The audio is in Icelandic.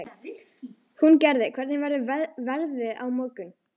Húngerður, hvernig verður veðrið á morgun?